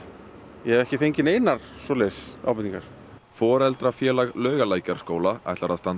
ég hef ekki fengið neinar svoleiðis ábendingar foreldrafélag Laugalækjarskóla ætlar að standa